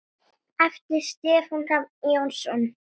eftir Stefán Hrafn Jónsson